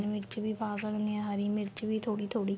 ਮਿਰਚ ਵੀ ਪਾ ਸਕਦੇ ਆ ਹਰੀ ਮਿਰਚ ਵੀ ਥੋੜੀ ਥੋੜੀ